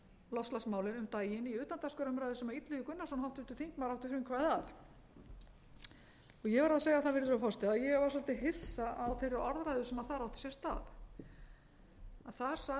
um daginn í utandagskrárumræðu sem illugi gunnarsson háttvirtur þingmaður átti frumkvæðið að ég verð að segja það virðulegur forseti að ég var svolítið hissa á þeirri orðræðu sem þar átti sér stað þar sagði hæstvirtur